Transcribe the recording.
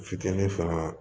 Futeni fana